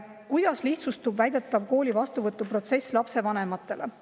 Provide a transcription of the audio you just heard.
"Kuidas lihtsustub väidetav kooli vastuvõtuprotsess lapsevanematele?